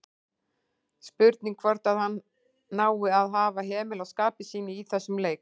Spurning hvort að hann nái að hafa hemil á skapi sínu í þessum leik?